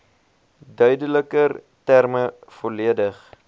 duideliker terme volledig